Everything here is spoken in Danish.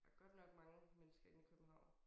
Der godt nok mange mennesker inde i København